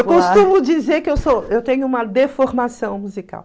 Eu costumo dizer que eu sou eu tenho uma deformação musical.